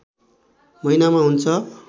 महिनामा हुन्छ